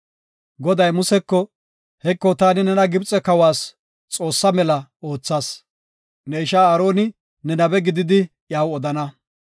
Goday Museko, “Heko taani nena Gibxe kawas Xoossa mela oothas. Ne ishaa Aaroni ne nabe gididi iyaw odana.